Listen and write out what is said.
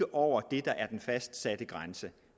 over det der er den fastsatte grænse